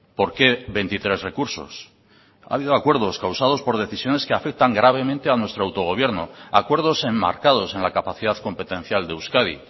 por qué veintitrés recursos ha habido acuerdos causados por decisiones que afectan gravemente a nuestro autogobierno acuerdos enmarcados en la capacidad competencial de euskadi